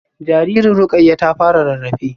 Jaririn Rukayyah ta fara rarrafe